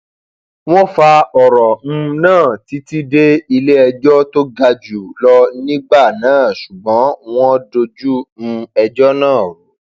wọn fa ọrọ um náà títí dé iléẹjọ tó ga jù lọ nígbà náà ṣùgbọn wọn dojú um ẹjọ náà rú